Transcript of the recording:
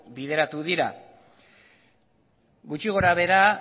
bideratu dira gutxi gora behera